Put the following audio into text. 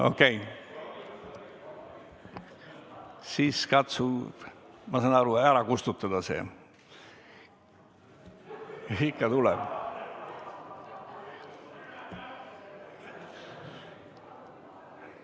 Okei, siis katsu see soov ära kustutada, ikka tuleb seda teha.